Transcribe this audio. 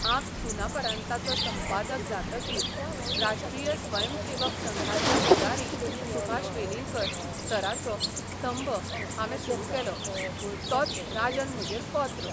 हांब 'सुनापरान्ता'चो संपादक जातकीर राष्ट्रीय स्वयंसेवक संघाचे फुडारी सुभाष वेलिंगकर सराचो स्तंभ हावें सुरू केलो म्हूण तोच राजन म्हजेर कॉंत्र.